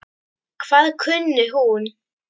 Hvað kunni hún?